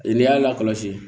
E n'i y'a lakɔlɔsi